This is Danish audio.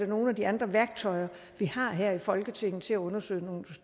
nogle af de andre værktøjer vi har her i folketinget til at undersøge